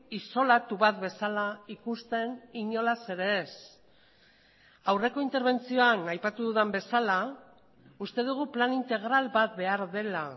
isolatu bat bezala ikusten inolaz ere ez aurreko interbentzioan aipatu dudan bezala uste dugu plan integral bat behar dela